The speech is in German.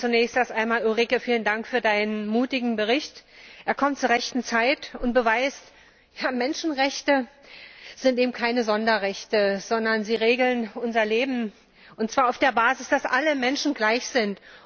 Zunächst einmal vielen Dank, Ulrike, für Deinen mutigen Bericht! Er kommt zur rechten Zeit und beweist, Menschenrechte sind eben keine Sonderrechte, sondern sie regeln unser Leben und zwar auf der Basis, dass alle Menschen gleich sind.